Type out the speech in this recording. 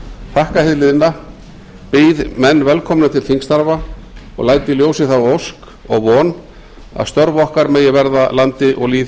þakka hið liðna býð menn velkomna til þingstarfa og læt í ljósi þá ósk og von að störf okkar megi verða landi og lýð